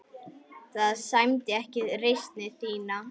Það sæmdi ekki reisn þinni.